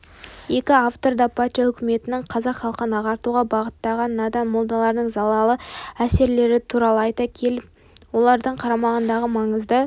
екі автор да патша үкіметінің қазақ халқын ағартуға бағыттаған надан молдаларының залалды әсерлері туралы айта келіп олардың қарамағындағы маңызды